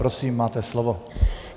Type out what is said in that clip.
Prosím, máte slovo.